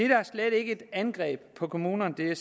her er slet ikke et angreb på kommunerne